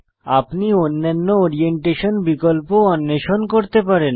আপনি অন্যান্য ওরিয়েন্টেশন বিকল্প অন্বেষণ করতে পারেন